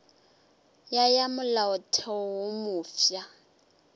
ya ya molaotheo wo mofsa